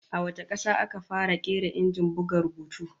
A wace kasa aka fara kera Injin buga rubutu?